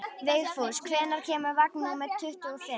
Vigfús, hvenær kemur vagn númer tuttugu og fimm?